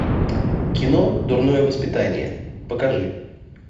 кино дурное воспитание покажи